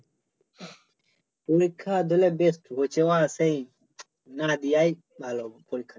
পরীক্ষা দিলে বেশ হইছে আমার সেই না দেওয়াই ভালো পরীক্ষা